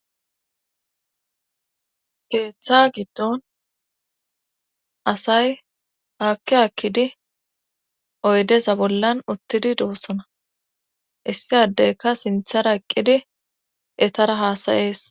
keeththa giddon asay haakki hakkidi oydesa bollan uttidi doossona issi addeyka sinthara eqqidi etara haasayees